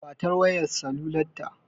Ba ta wayar salular ta!